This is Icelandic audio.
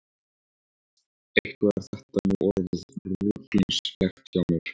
Eitthvað er þetta nú orðið ruglingslegt hjá mér.